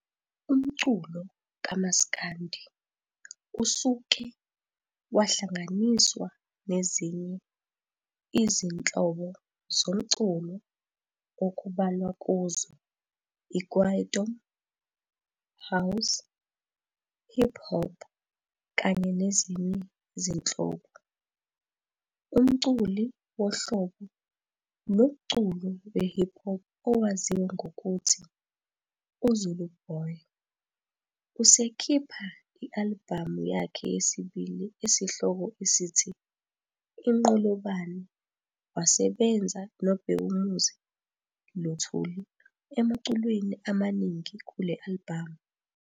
Umculo kamaskandi usuke wahlanganiswa nezinye izinhobo zomculo okubalwa kuzo i-Kwaito, house, hip-hop kanye nezinye izinhlobo. Umculi wohlobo lomculo we-hip-hop owaziwa ngokuthi u-Zuluboy esekhipha i-alibhamu yakhe yesibili esihloko esithi-Inqolobane wasebenza no-Bhekumuzi Luthulu emaculweni emaningi kule alibhamu.